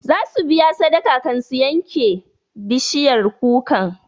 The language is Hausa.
Za su biya sadaka kan su yanke bishiyar kukan